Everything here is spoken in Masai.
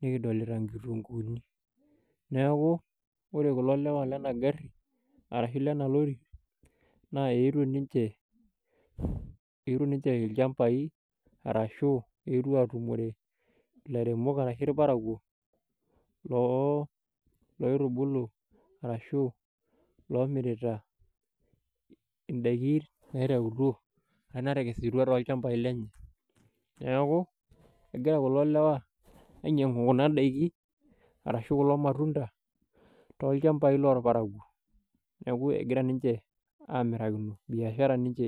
nikidolita nkitunguni, neeku ore kulo lewa lena gari arashu lena lori naa eetuo ninche, eetuo ninche ilchambai arashu eetuo atumore ilairemok arashu irparakwo loo loitubulu arahu lomirita indaiki arashu natakesutuo toolchambai lenye. Neeku egira kulo lewa ainyiangu kuna daiki arashu kulo matunda tolchambai lorpararuo, neeku egira ninche amirakino, neeku biashara ninche.